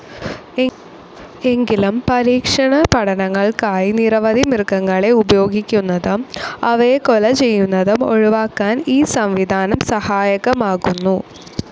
എങ്കിലും പരീക്ഷണ പഠനങ്ങൾക്കായി നിരവധി മൃഗങ്ങളെ ഉപയോഗിക്കുന്നതും അവയെ കൊലചെയ്യന്നതും ഒഴിവാക്കാൻ ഈ സംവിധാനം സഹായകമാകുന്നു.